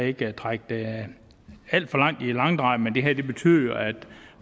ikke trække det alt for meget i langdrag det her betyder at